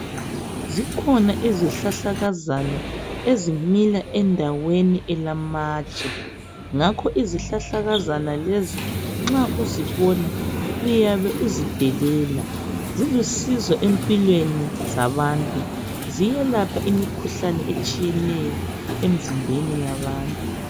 Zikhona izihlahlakazana ezimila endaweni elamatshe ngakho izihlahlakazana lezo nxa uzibona uyabe uzidelela zilusizo empilweni zabantu, ziyelapha imikhuhlane etshiyeneyo emzimbeni yabantu.